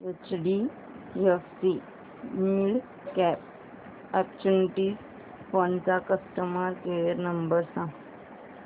HDFC midcap opportunities fund चा customer care number सांग